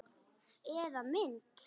Eða mynd.